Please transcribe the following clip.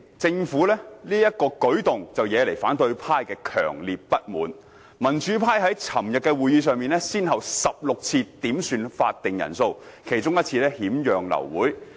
政府此舉惹來民主派強烈不滿，民主派於昨日會議上先後16次點算開會法定人數，其中1次更險釀流會。